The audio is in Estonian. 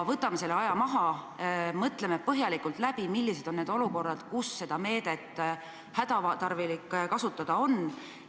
Võtame aja maha, mõtleme põhjalikult läbi, millised on need olukorrad, kus seda meedet hädatarvilik kasutada on!